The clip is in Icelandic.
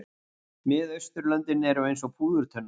Miðausturlöndin eru eins og púðurtunna.